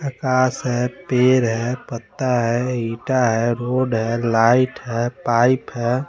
चकास है पीर है पत्ता है ईटा है रोड है लाईट है पाइप है।